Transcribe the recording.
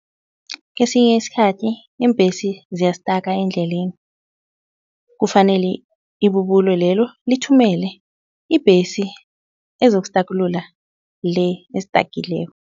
Kesinye isikhathi iimbhesi ziyastaka endleleni. Kufanele ibubulo lelo lithumele ibhesi ezokustakulula le estakileko.